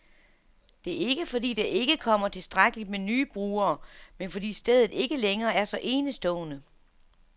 Det er ikke, fordi der ikke kommer tilstrækkeligt med nye brugere, men fordi stedet ikke længere er så enestående.